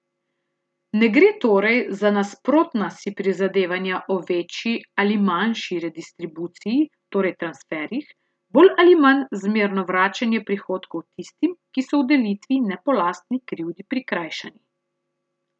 Ne gre torej za nasprotna si prizadevanja o večji ali manjši redistribuciji, torej transferjih, bolj ali manj zmerno vračanje prihodkov tistim, ki so v delitvi ne po lastni krivdi prikrajšani.